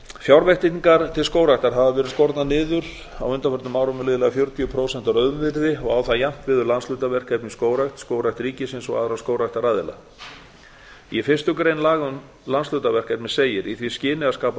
fjárveitingar til skógræktar hafa verið skornar niður á undanförnum árum um liðlega fjörutíu prósent að raunvirði og á það jafnt við um landshlutaverkefni í skógrækt skógrækt ríkisins og aðra skógræktaraðila í fyrstu grein laga um landshlutaverkefni segir í því skyni að skapa